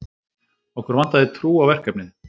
Okkur vantaði trú á verkefnið